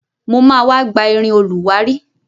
Mo ma wá gba irin olùwárí.